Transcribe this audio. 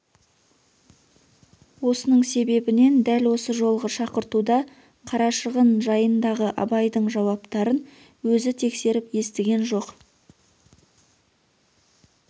осының себебінен дәл осы жолғы шақыртуда қарашығын жайындағы абайдың жауаптарын өзі тексеріп естіген жоқ